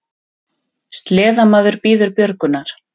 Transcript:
Sleðamaður bíður björgunar